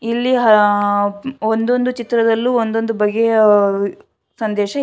ಇಲ್ಲಿ ಹಲ ಒಂದೊಂದು ಚಿತ್ರದಲ್ಲು ಒಂದೊಂದು ಬಗೆಯ ಸಂದೇಶ--